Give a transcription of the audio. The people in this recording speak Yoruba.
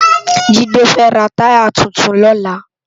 Jide fè rá tàyá tútún lòlá